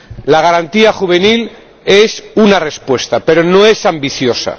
La Garantía Juvenil es una respuesta, pero no es ambiciosa.